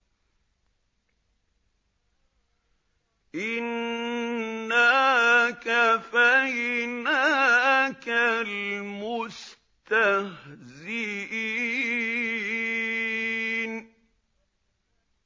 إِنَّا كَفَيْنَاكَ الْمُسْتَهْزِئِينَ